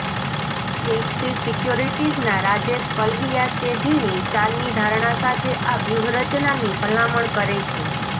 axis સિક્યોરિટીઝના રાજેશ પલ્વિયા તેજીની ચાલની ધારણા સાથે આ વ્યૂહરચનાની ભલામણ કરે છે